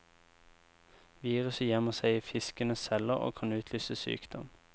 Viruset gjemmer seg i fiskens celler og kan utløse sykdom.